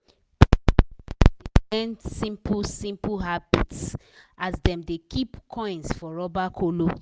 pikin dem dey learn simple-simple habits as dem dey keep coins for rubber kolo.